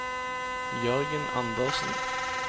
Jørgen Andersen